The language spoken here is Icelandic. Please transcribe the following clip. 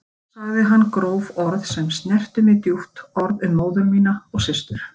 Svo sagði hann gróf orð sem snertu mig djúpt, orð um móður mína og systur.